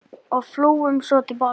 Og flugum svo til baka.